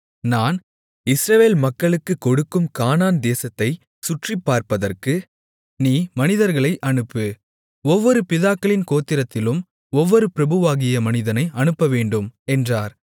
நான் இஸ்ரவேல் மக்களுக்குக் கொடுக்கும் கானான்தேசத்தைச் சுற்றிப்பார்ப்பதற்கு நீ மனிதர்களை அனுப்பு ஒவ்வொரு பிதாக்களின் கோத்திரத்திலும் ஒவ்வொரு பிரபுவாகிய மனிதனை அனுப்பவேண்டும் என்றார்